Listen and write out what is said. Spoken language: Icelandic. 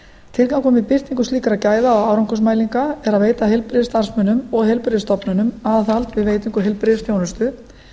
með birtingu slíkra gæða og árangursmælinga er að veita heilbrigðisstarfsmönnum og heilbrigðisstofnunum aðhald við veitingu heilbrigðisþjónustu